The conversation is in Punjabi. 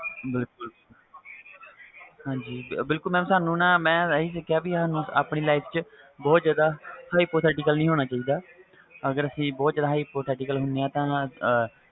ਬਿਲਕੁਲ mam ਮੈ ਆ ਹੀ ਸਿੱਖਿਆ ਕਿ ਸਾਨੂੰ ਆਪਣੀ life ਵਿਚ hypotheical ਨਹੀਂ ਹੋਣਾ ਚਾਹੀਦਾ ਅਗਰ ਅਸੀਂ ਬਹੁਤ ਜਾਂਦਾ hypothecial ਹੁਣੇ ਆ